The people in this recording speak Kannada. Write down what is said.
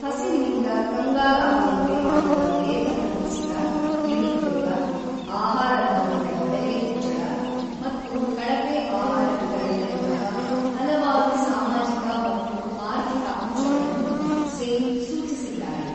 ಹಸಿವಿನಿಂದ ಕಂಗಾಲಾಗುವಂತೆ ಮಾಡಿದ ವೇತನ ಕುಸಿತ, ನಿರುದ್ಯೋಗ, ಆಹಾರಧಾನ್ಯಗಳ ಬೆಲೆ ಹೆಚ್ಚಳ ಮತ್ತು ಕಳಪೆ ಆಹಾರ ವಿತರಣೆಯಂತಹ ಹಲವಾರು ಸಾಮಾಜಿಕ ಮತ್ತು ಆರ್ಥಿಕ ಅಂಶಗಳನ್ನು ಸೇನ್ ಸೂಚಿಸಿದ್ದಾರೆ.